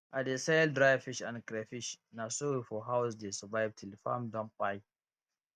i dey sell dry fish and crayfish na so we for house dey survive till farm don kpai